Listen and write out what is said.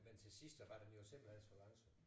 Men til sidst så var den jo simpelthen så langsom